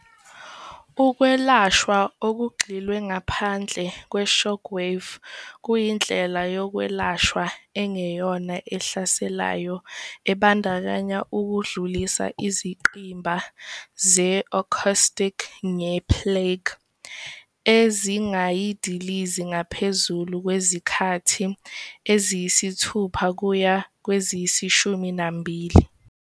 Ukwelashwa okugxilwe ngaphandle kwe-shockwave kuyindlela yokwelashwa engeyona ehlaselayo ebandakanya ukudlulisa izingqimba ze-acoustic nge-plaque, ezingayidiliza ngaphezulu kwezikhathi eziyisithupha kuya kweziyishumi nambili.